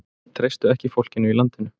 Treystu ekki fólkinu í landinu